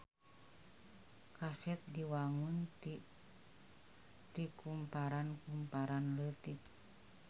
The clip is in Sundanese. Kaset diwangun ti kumparan-kumparan leutik.